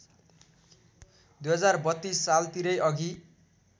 २०३२ सालतिरै अघि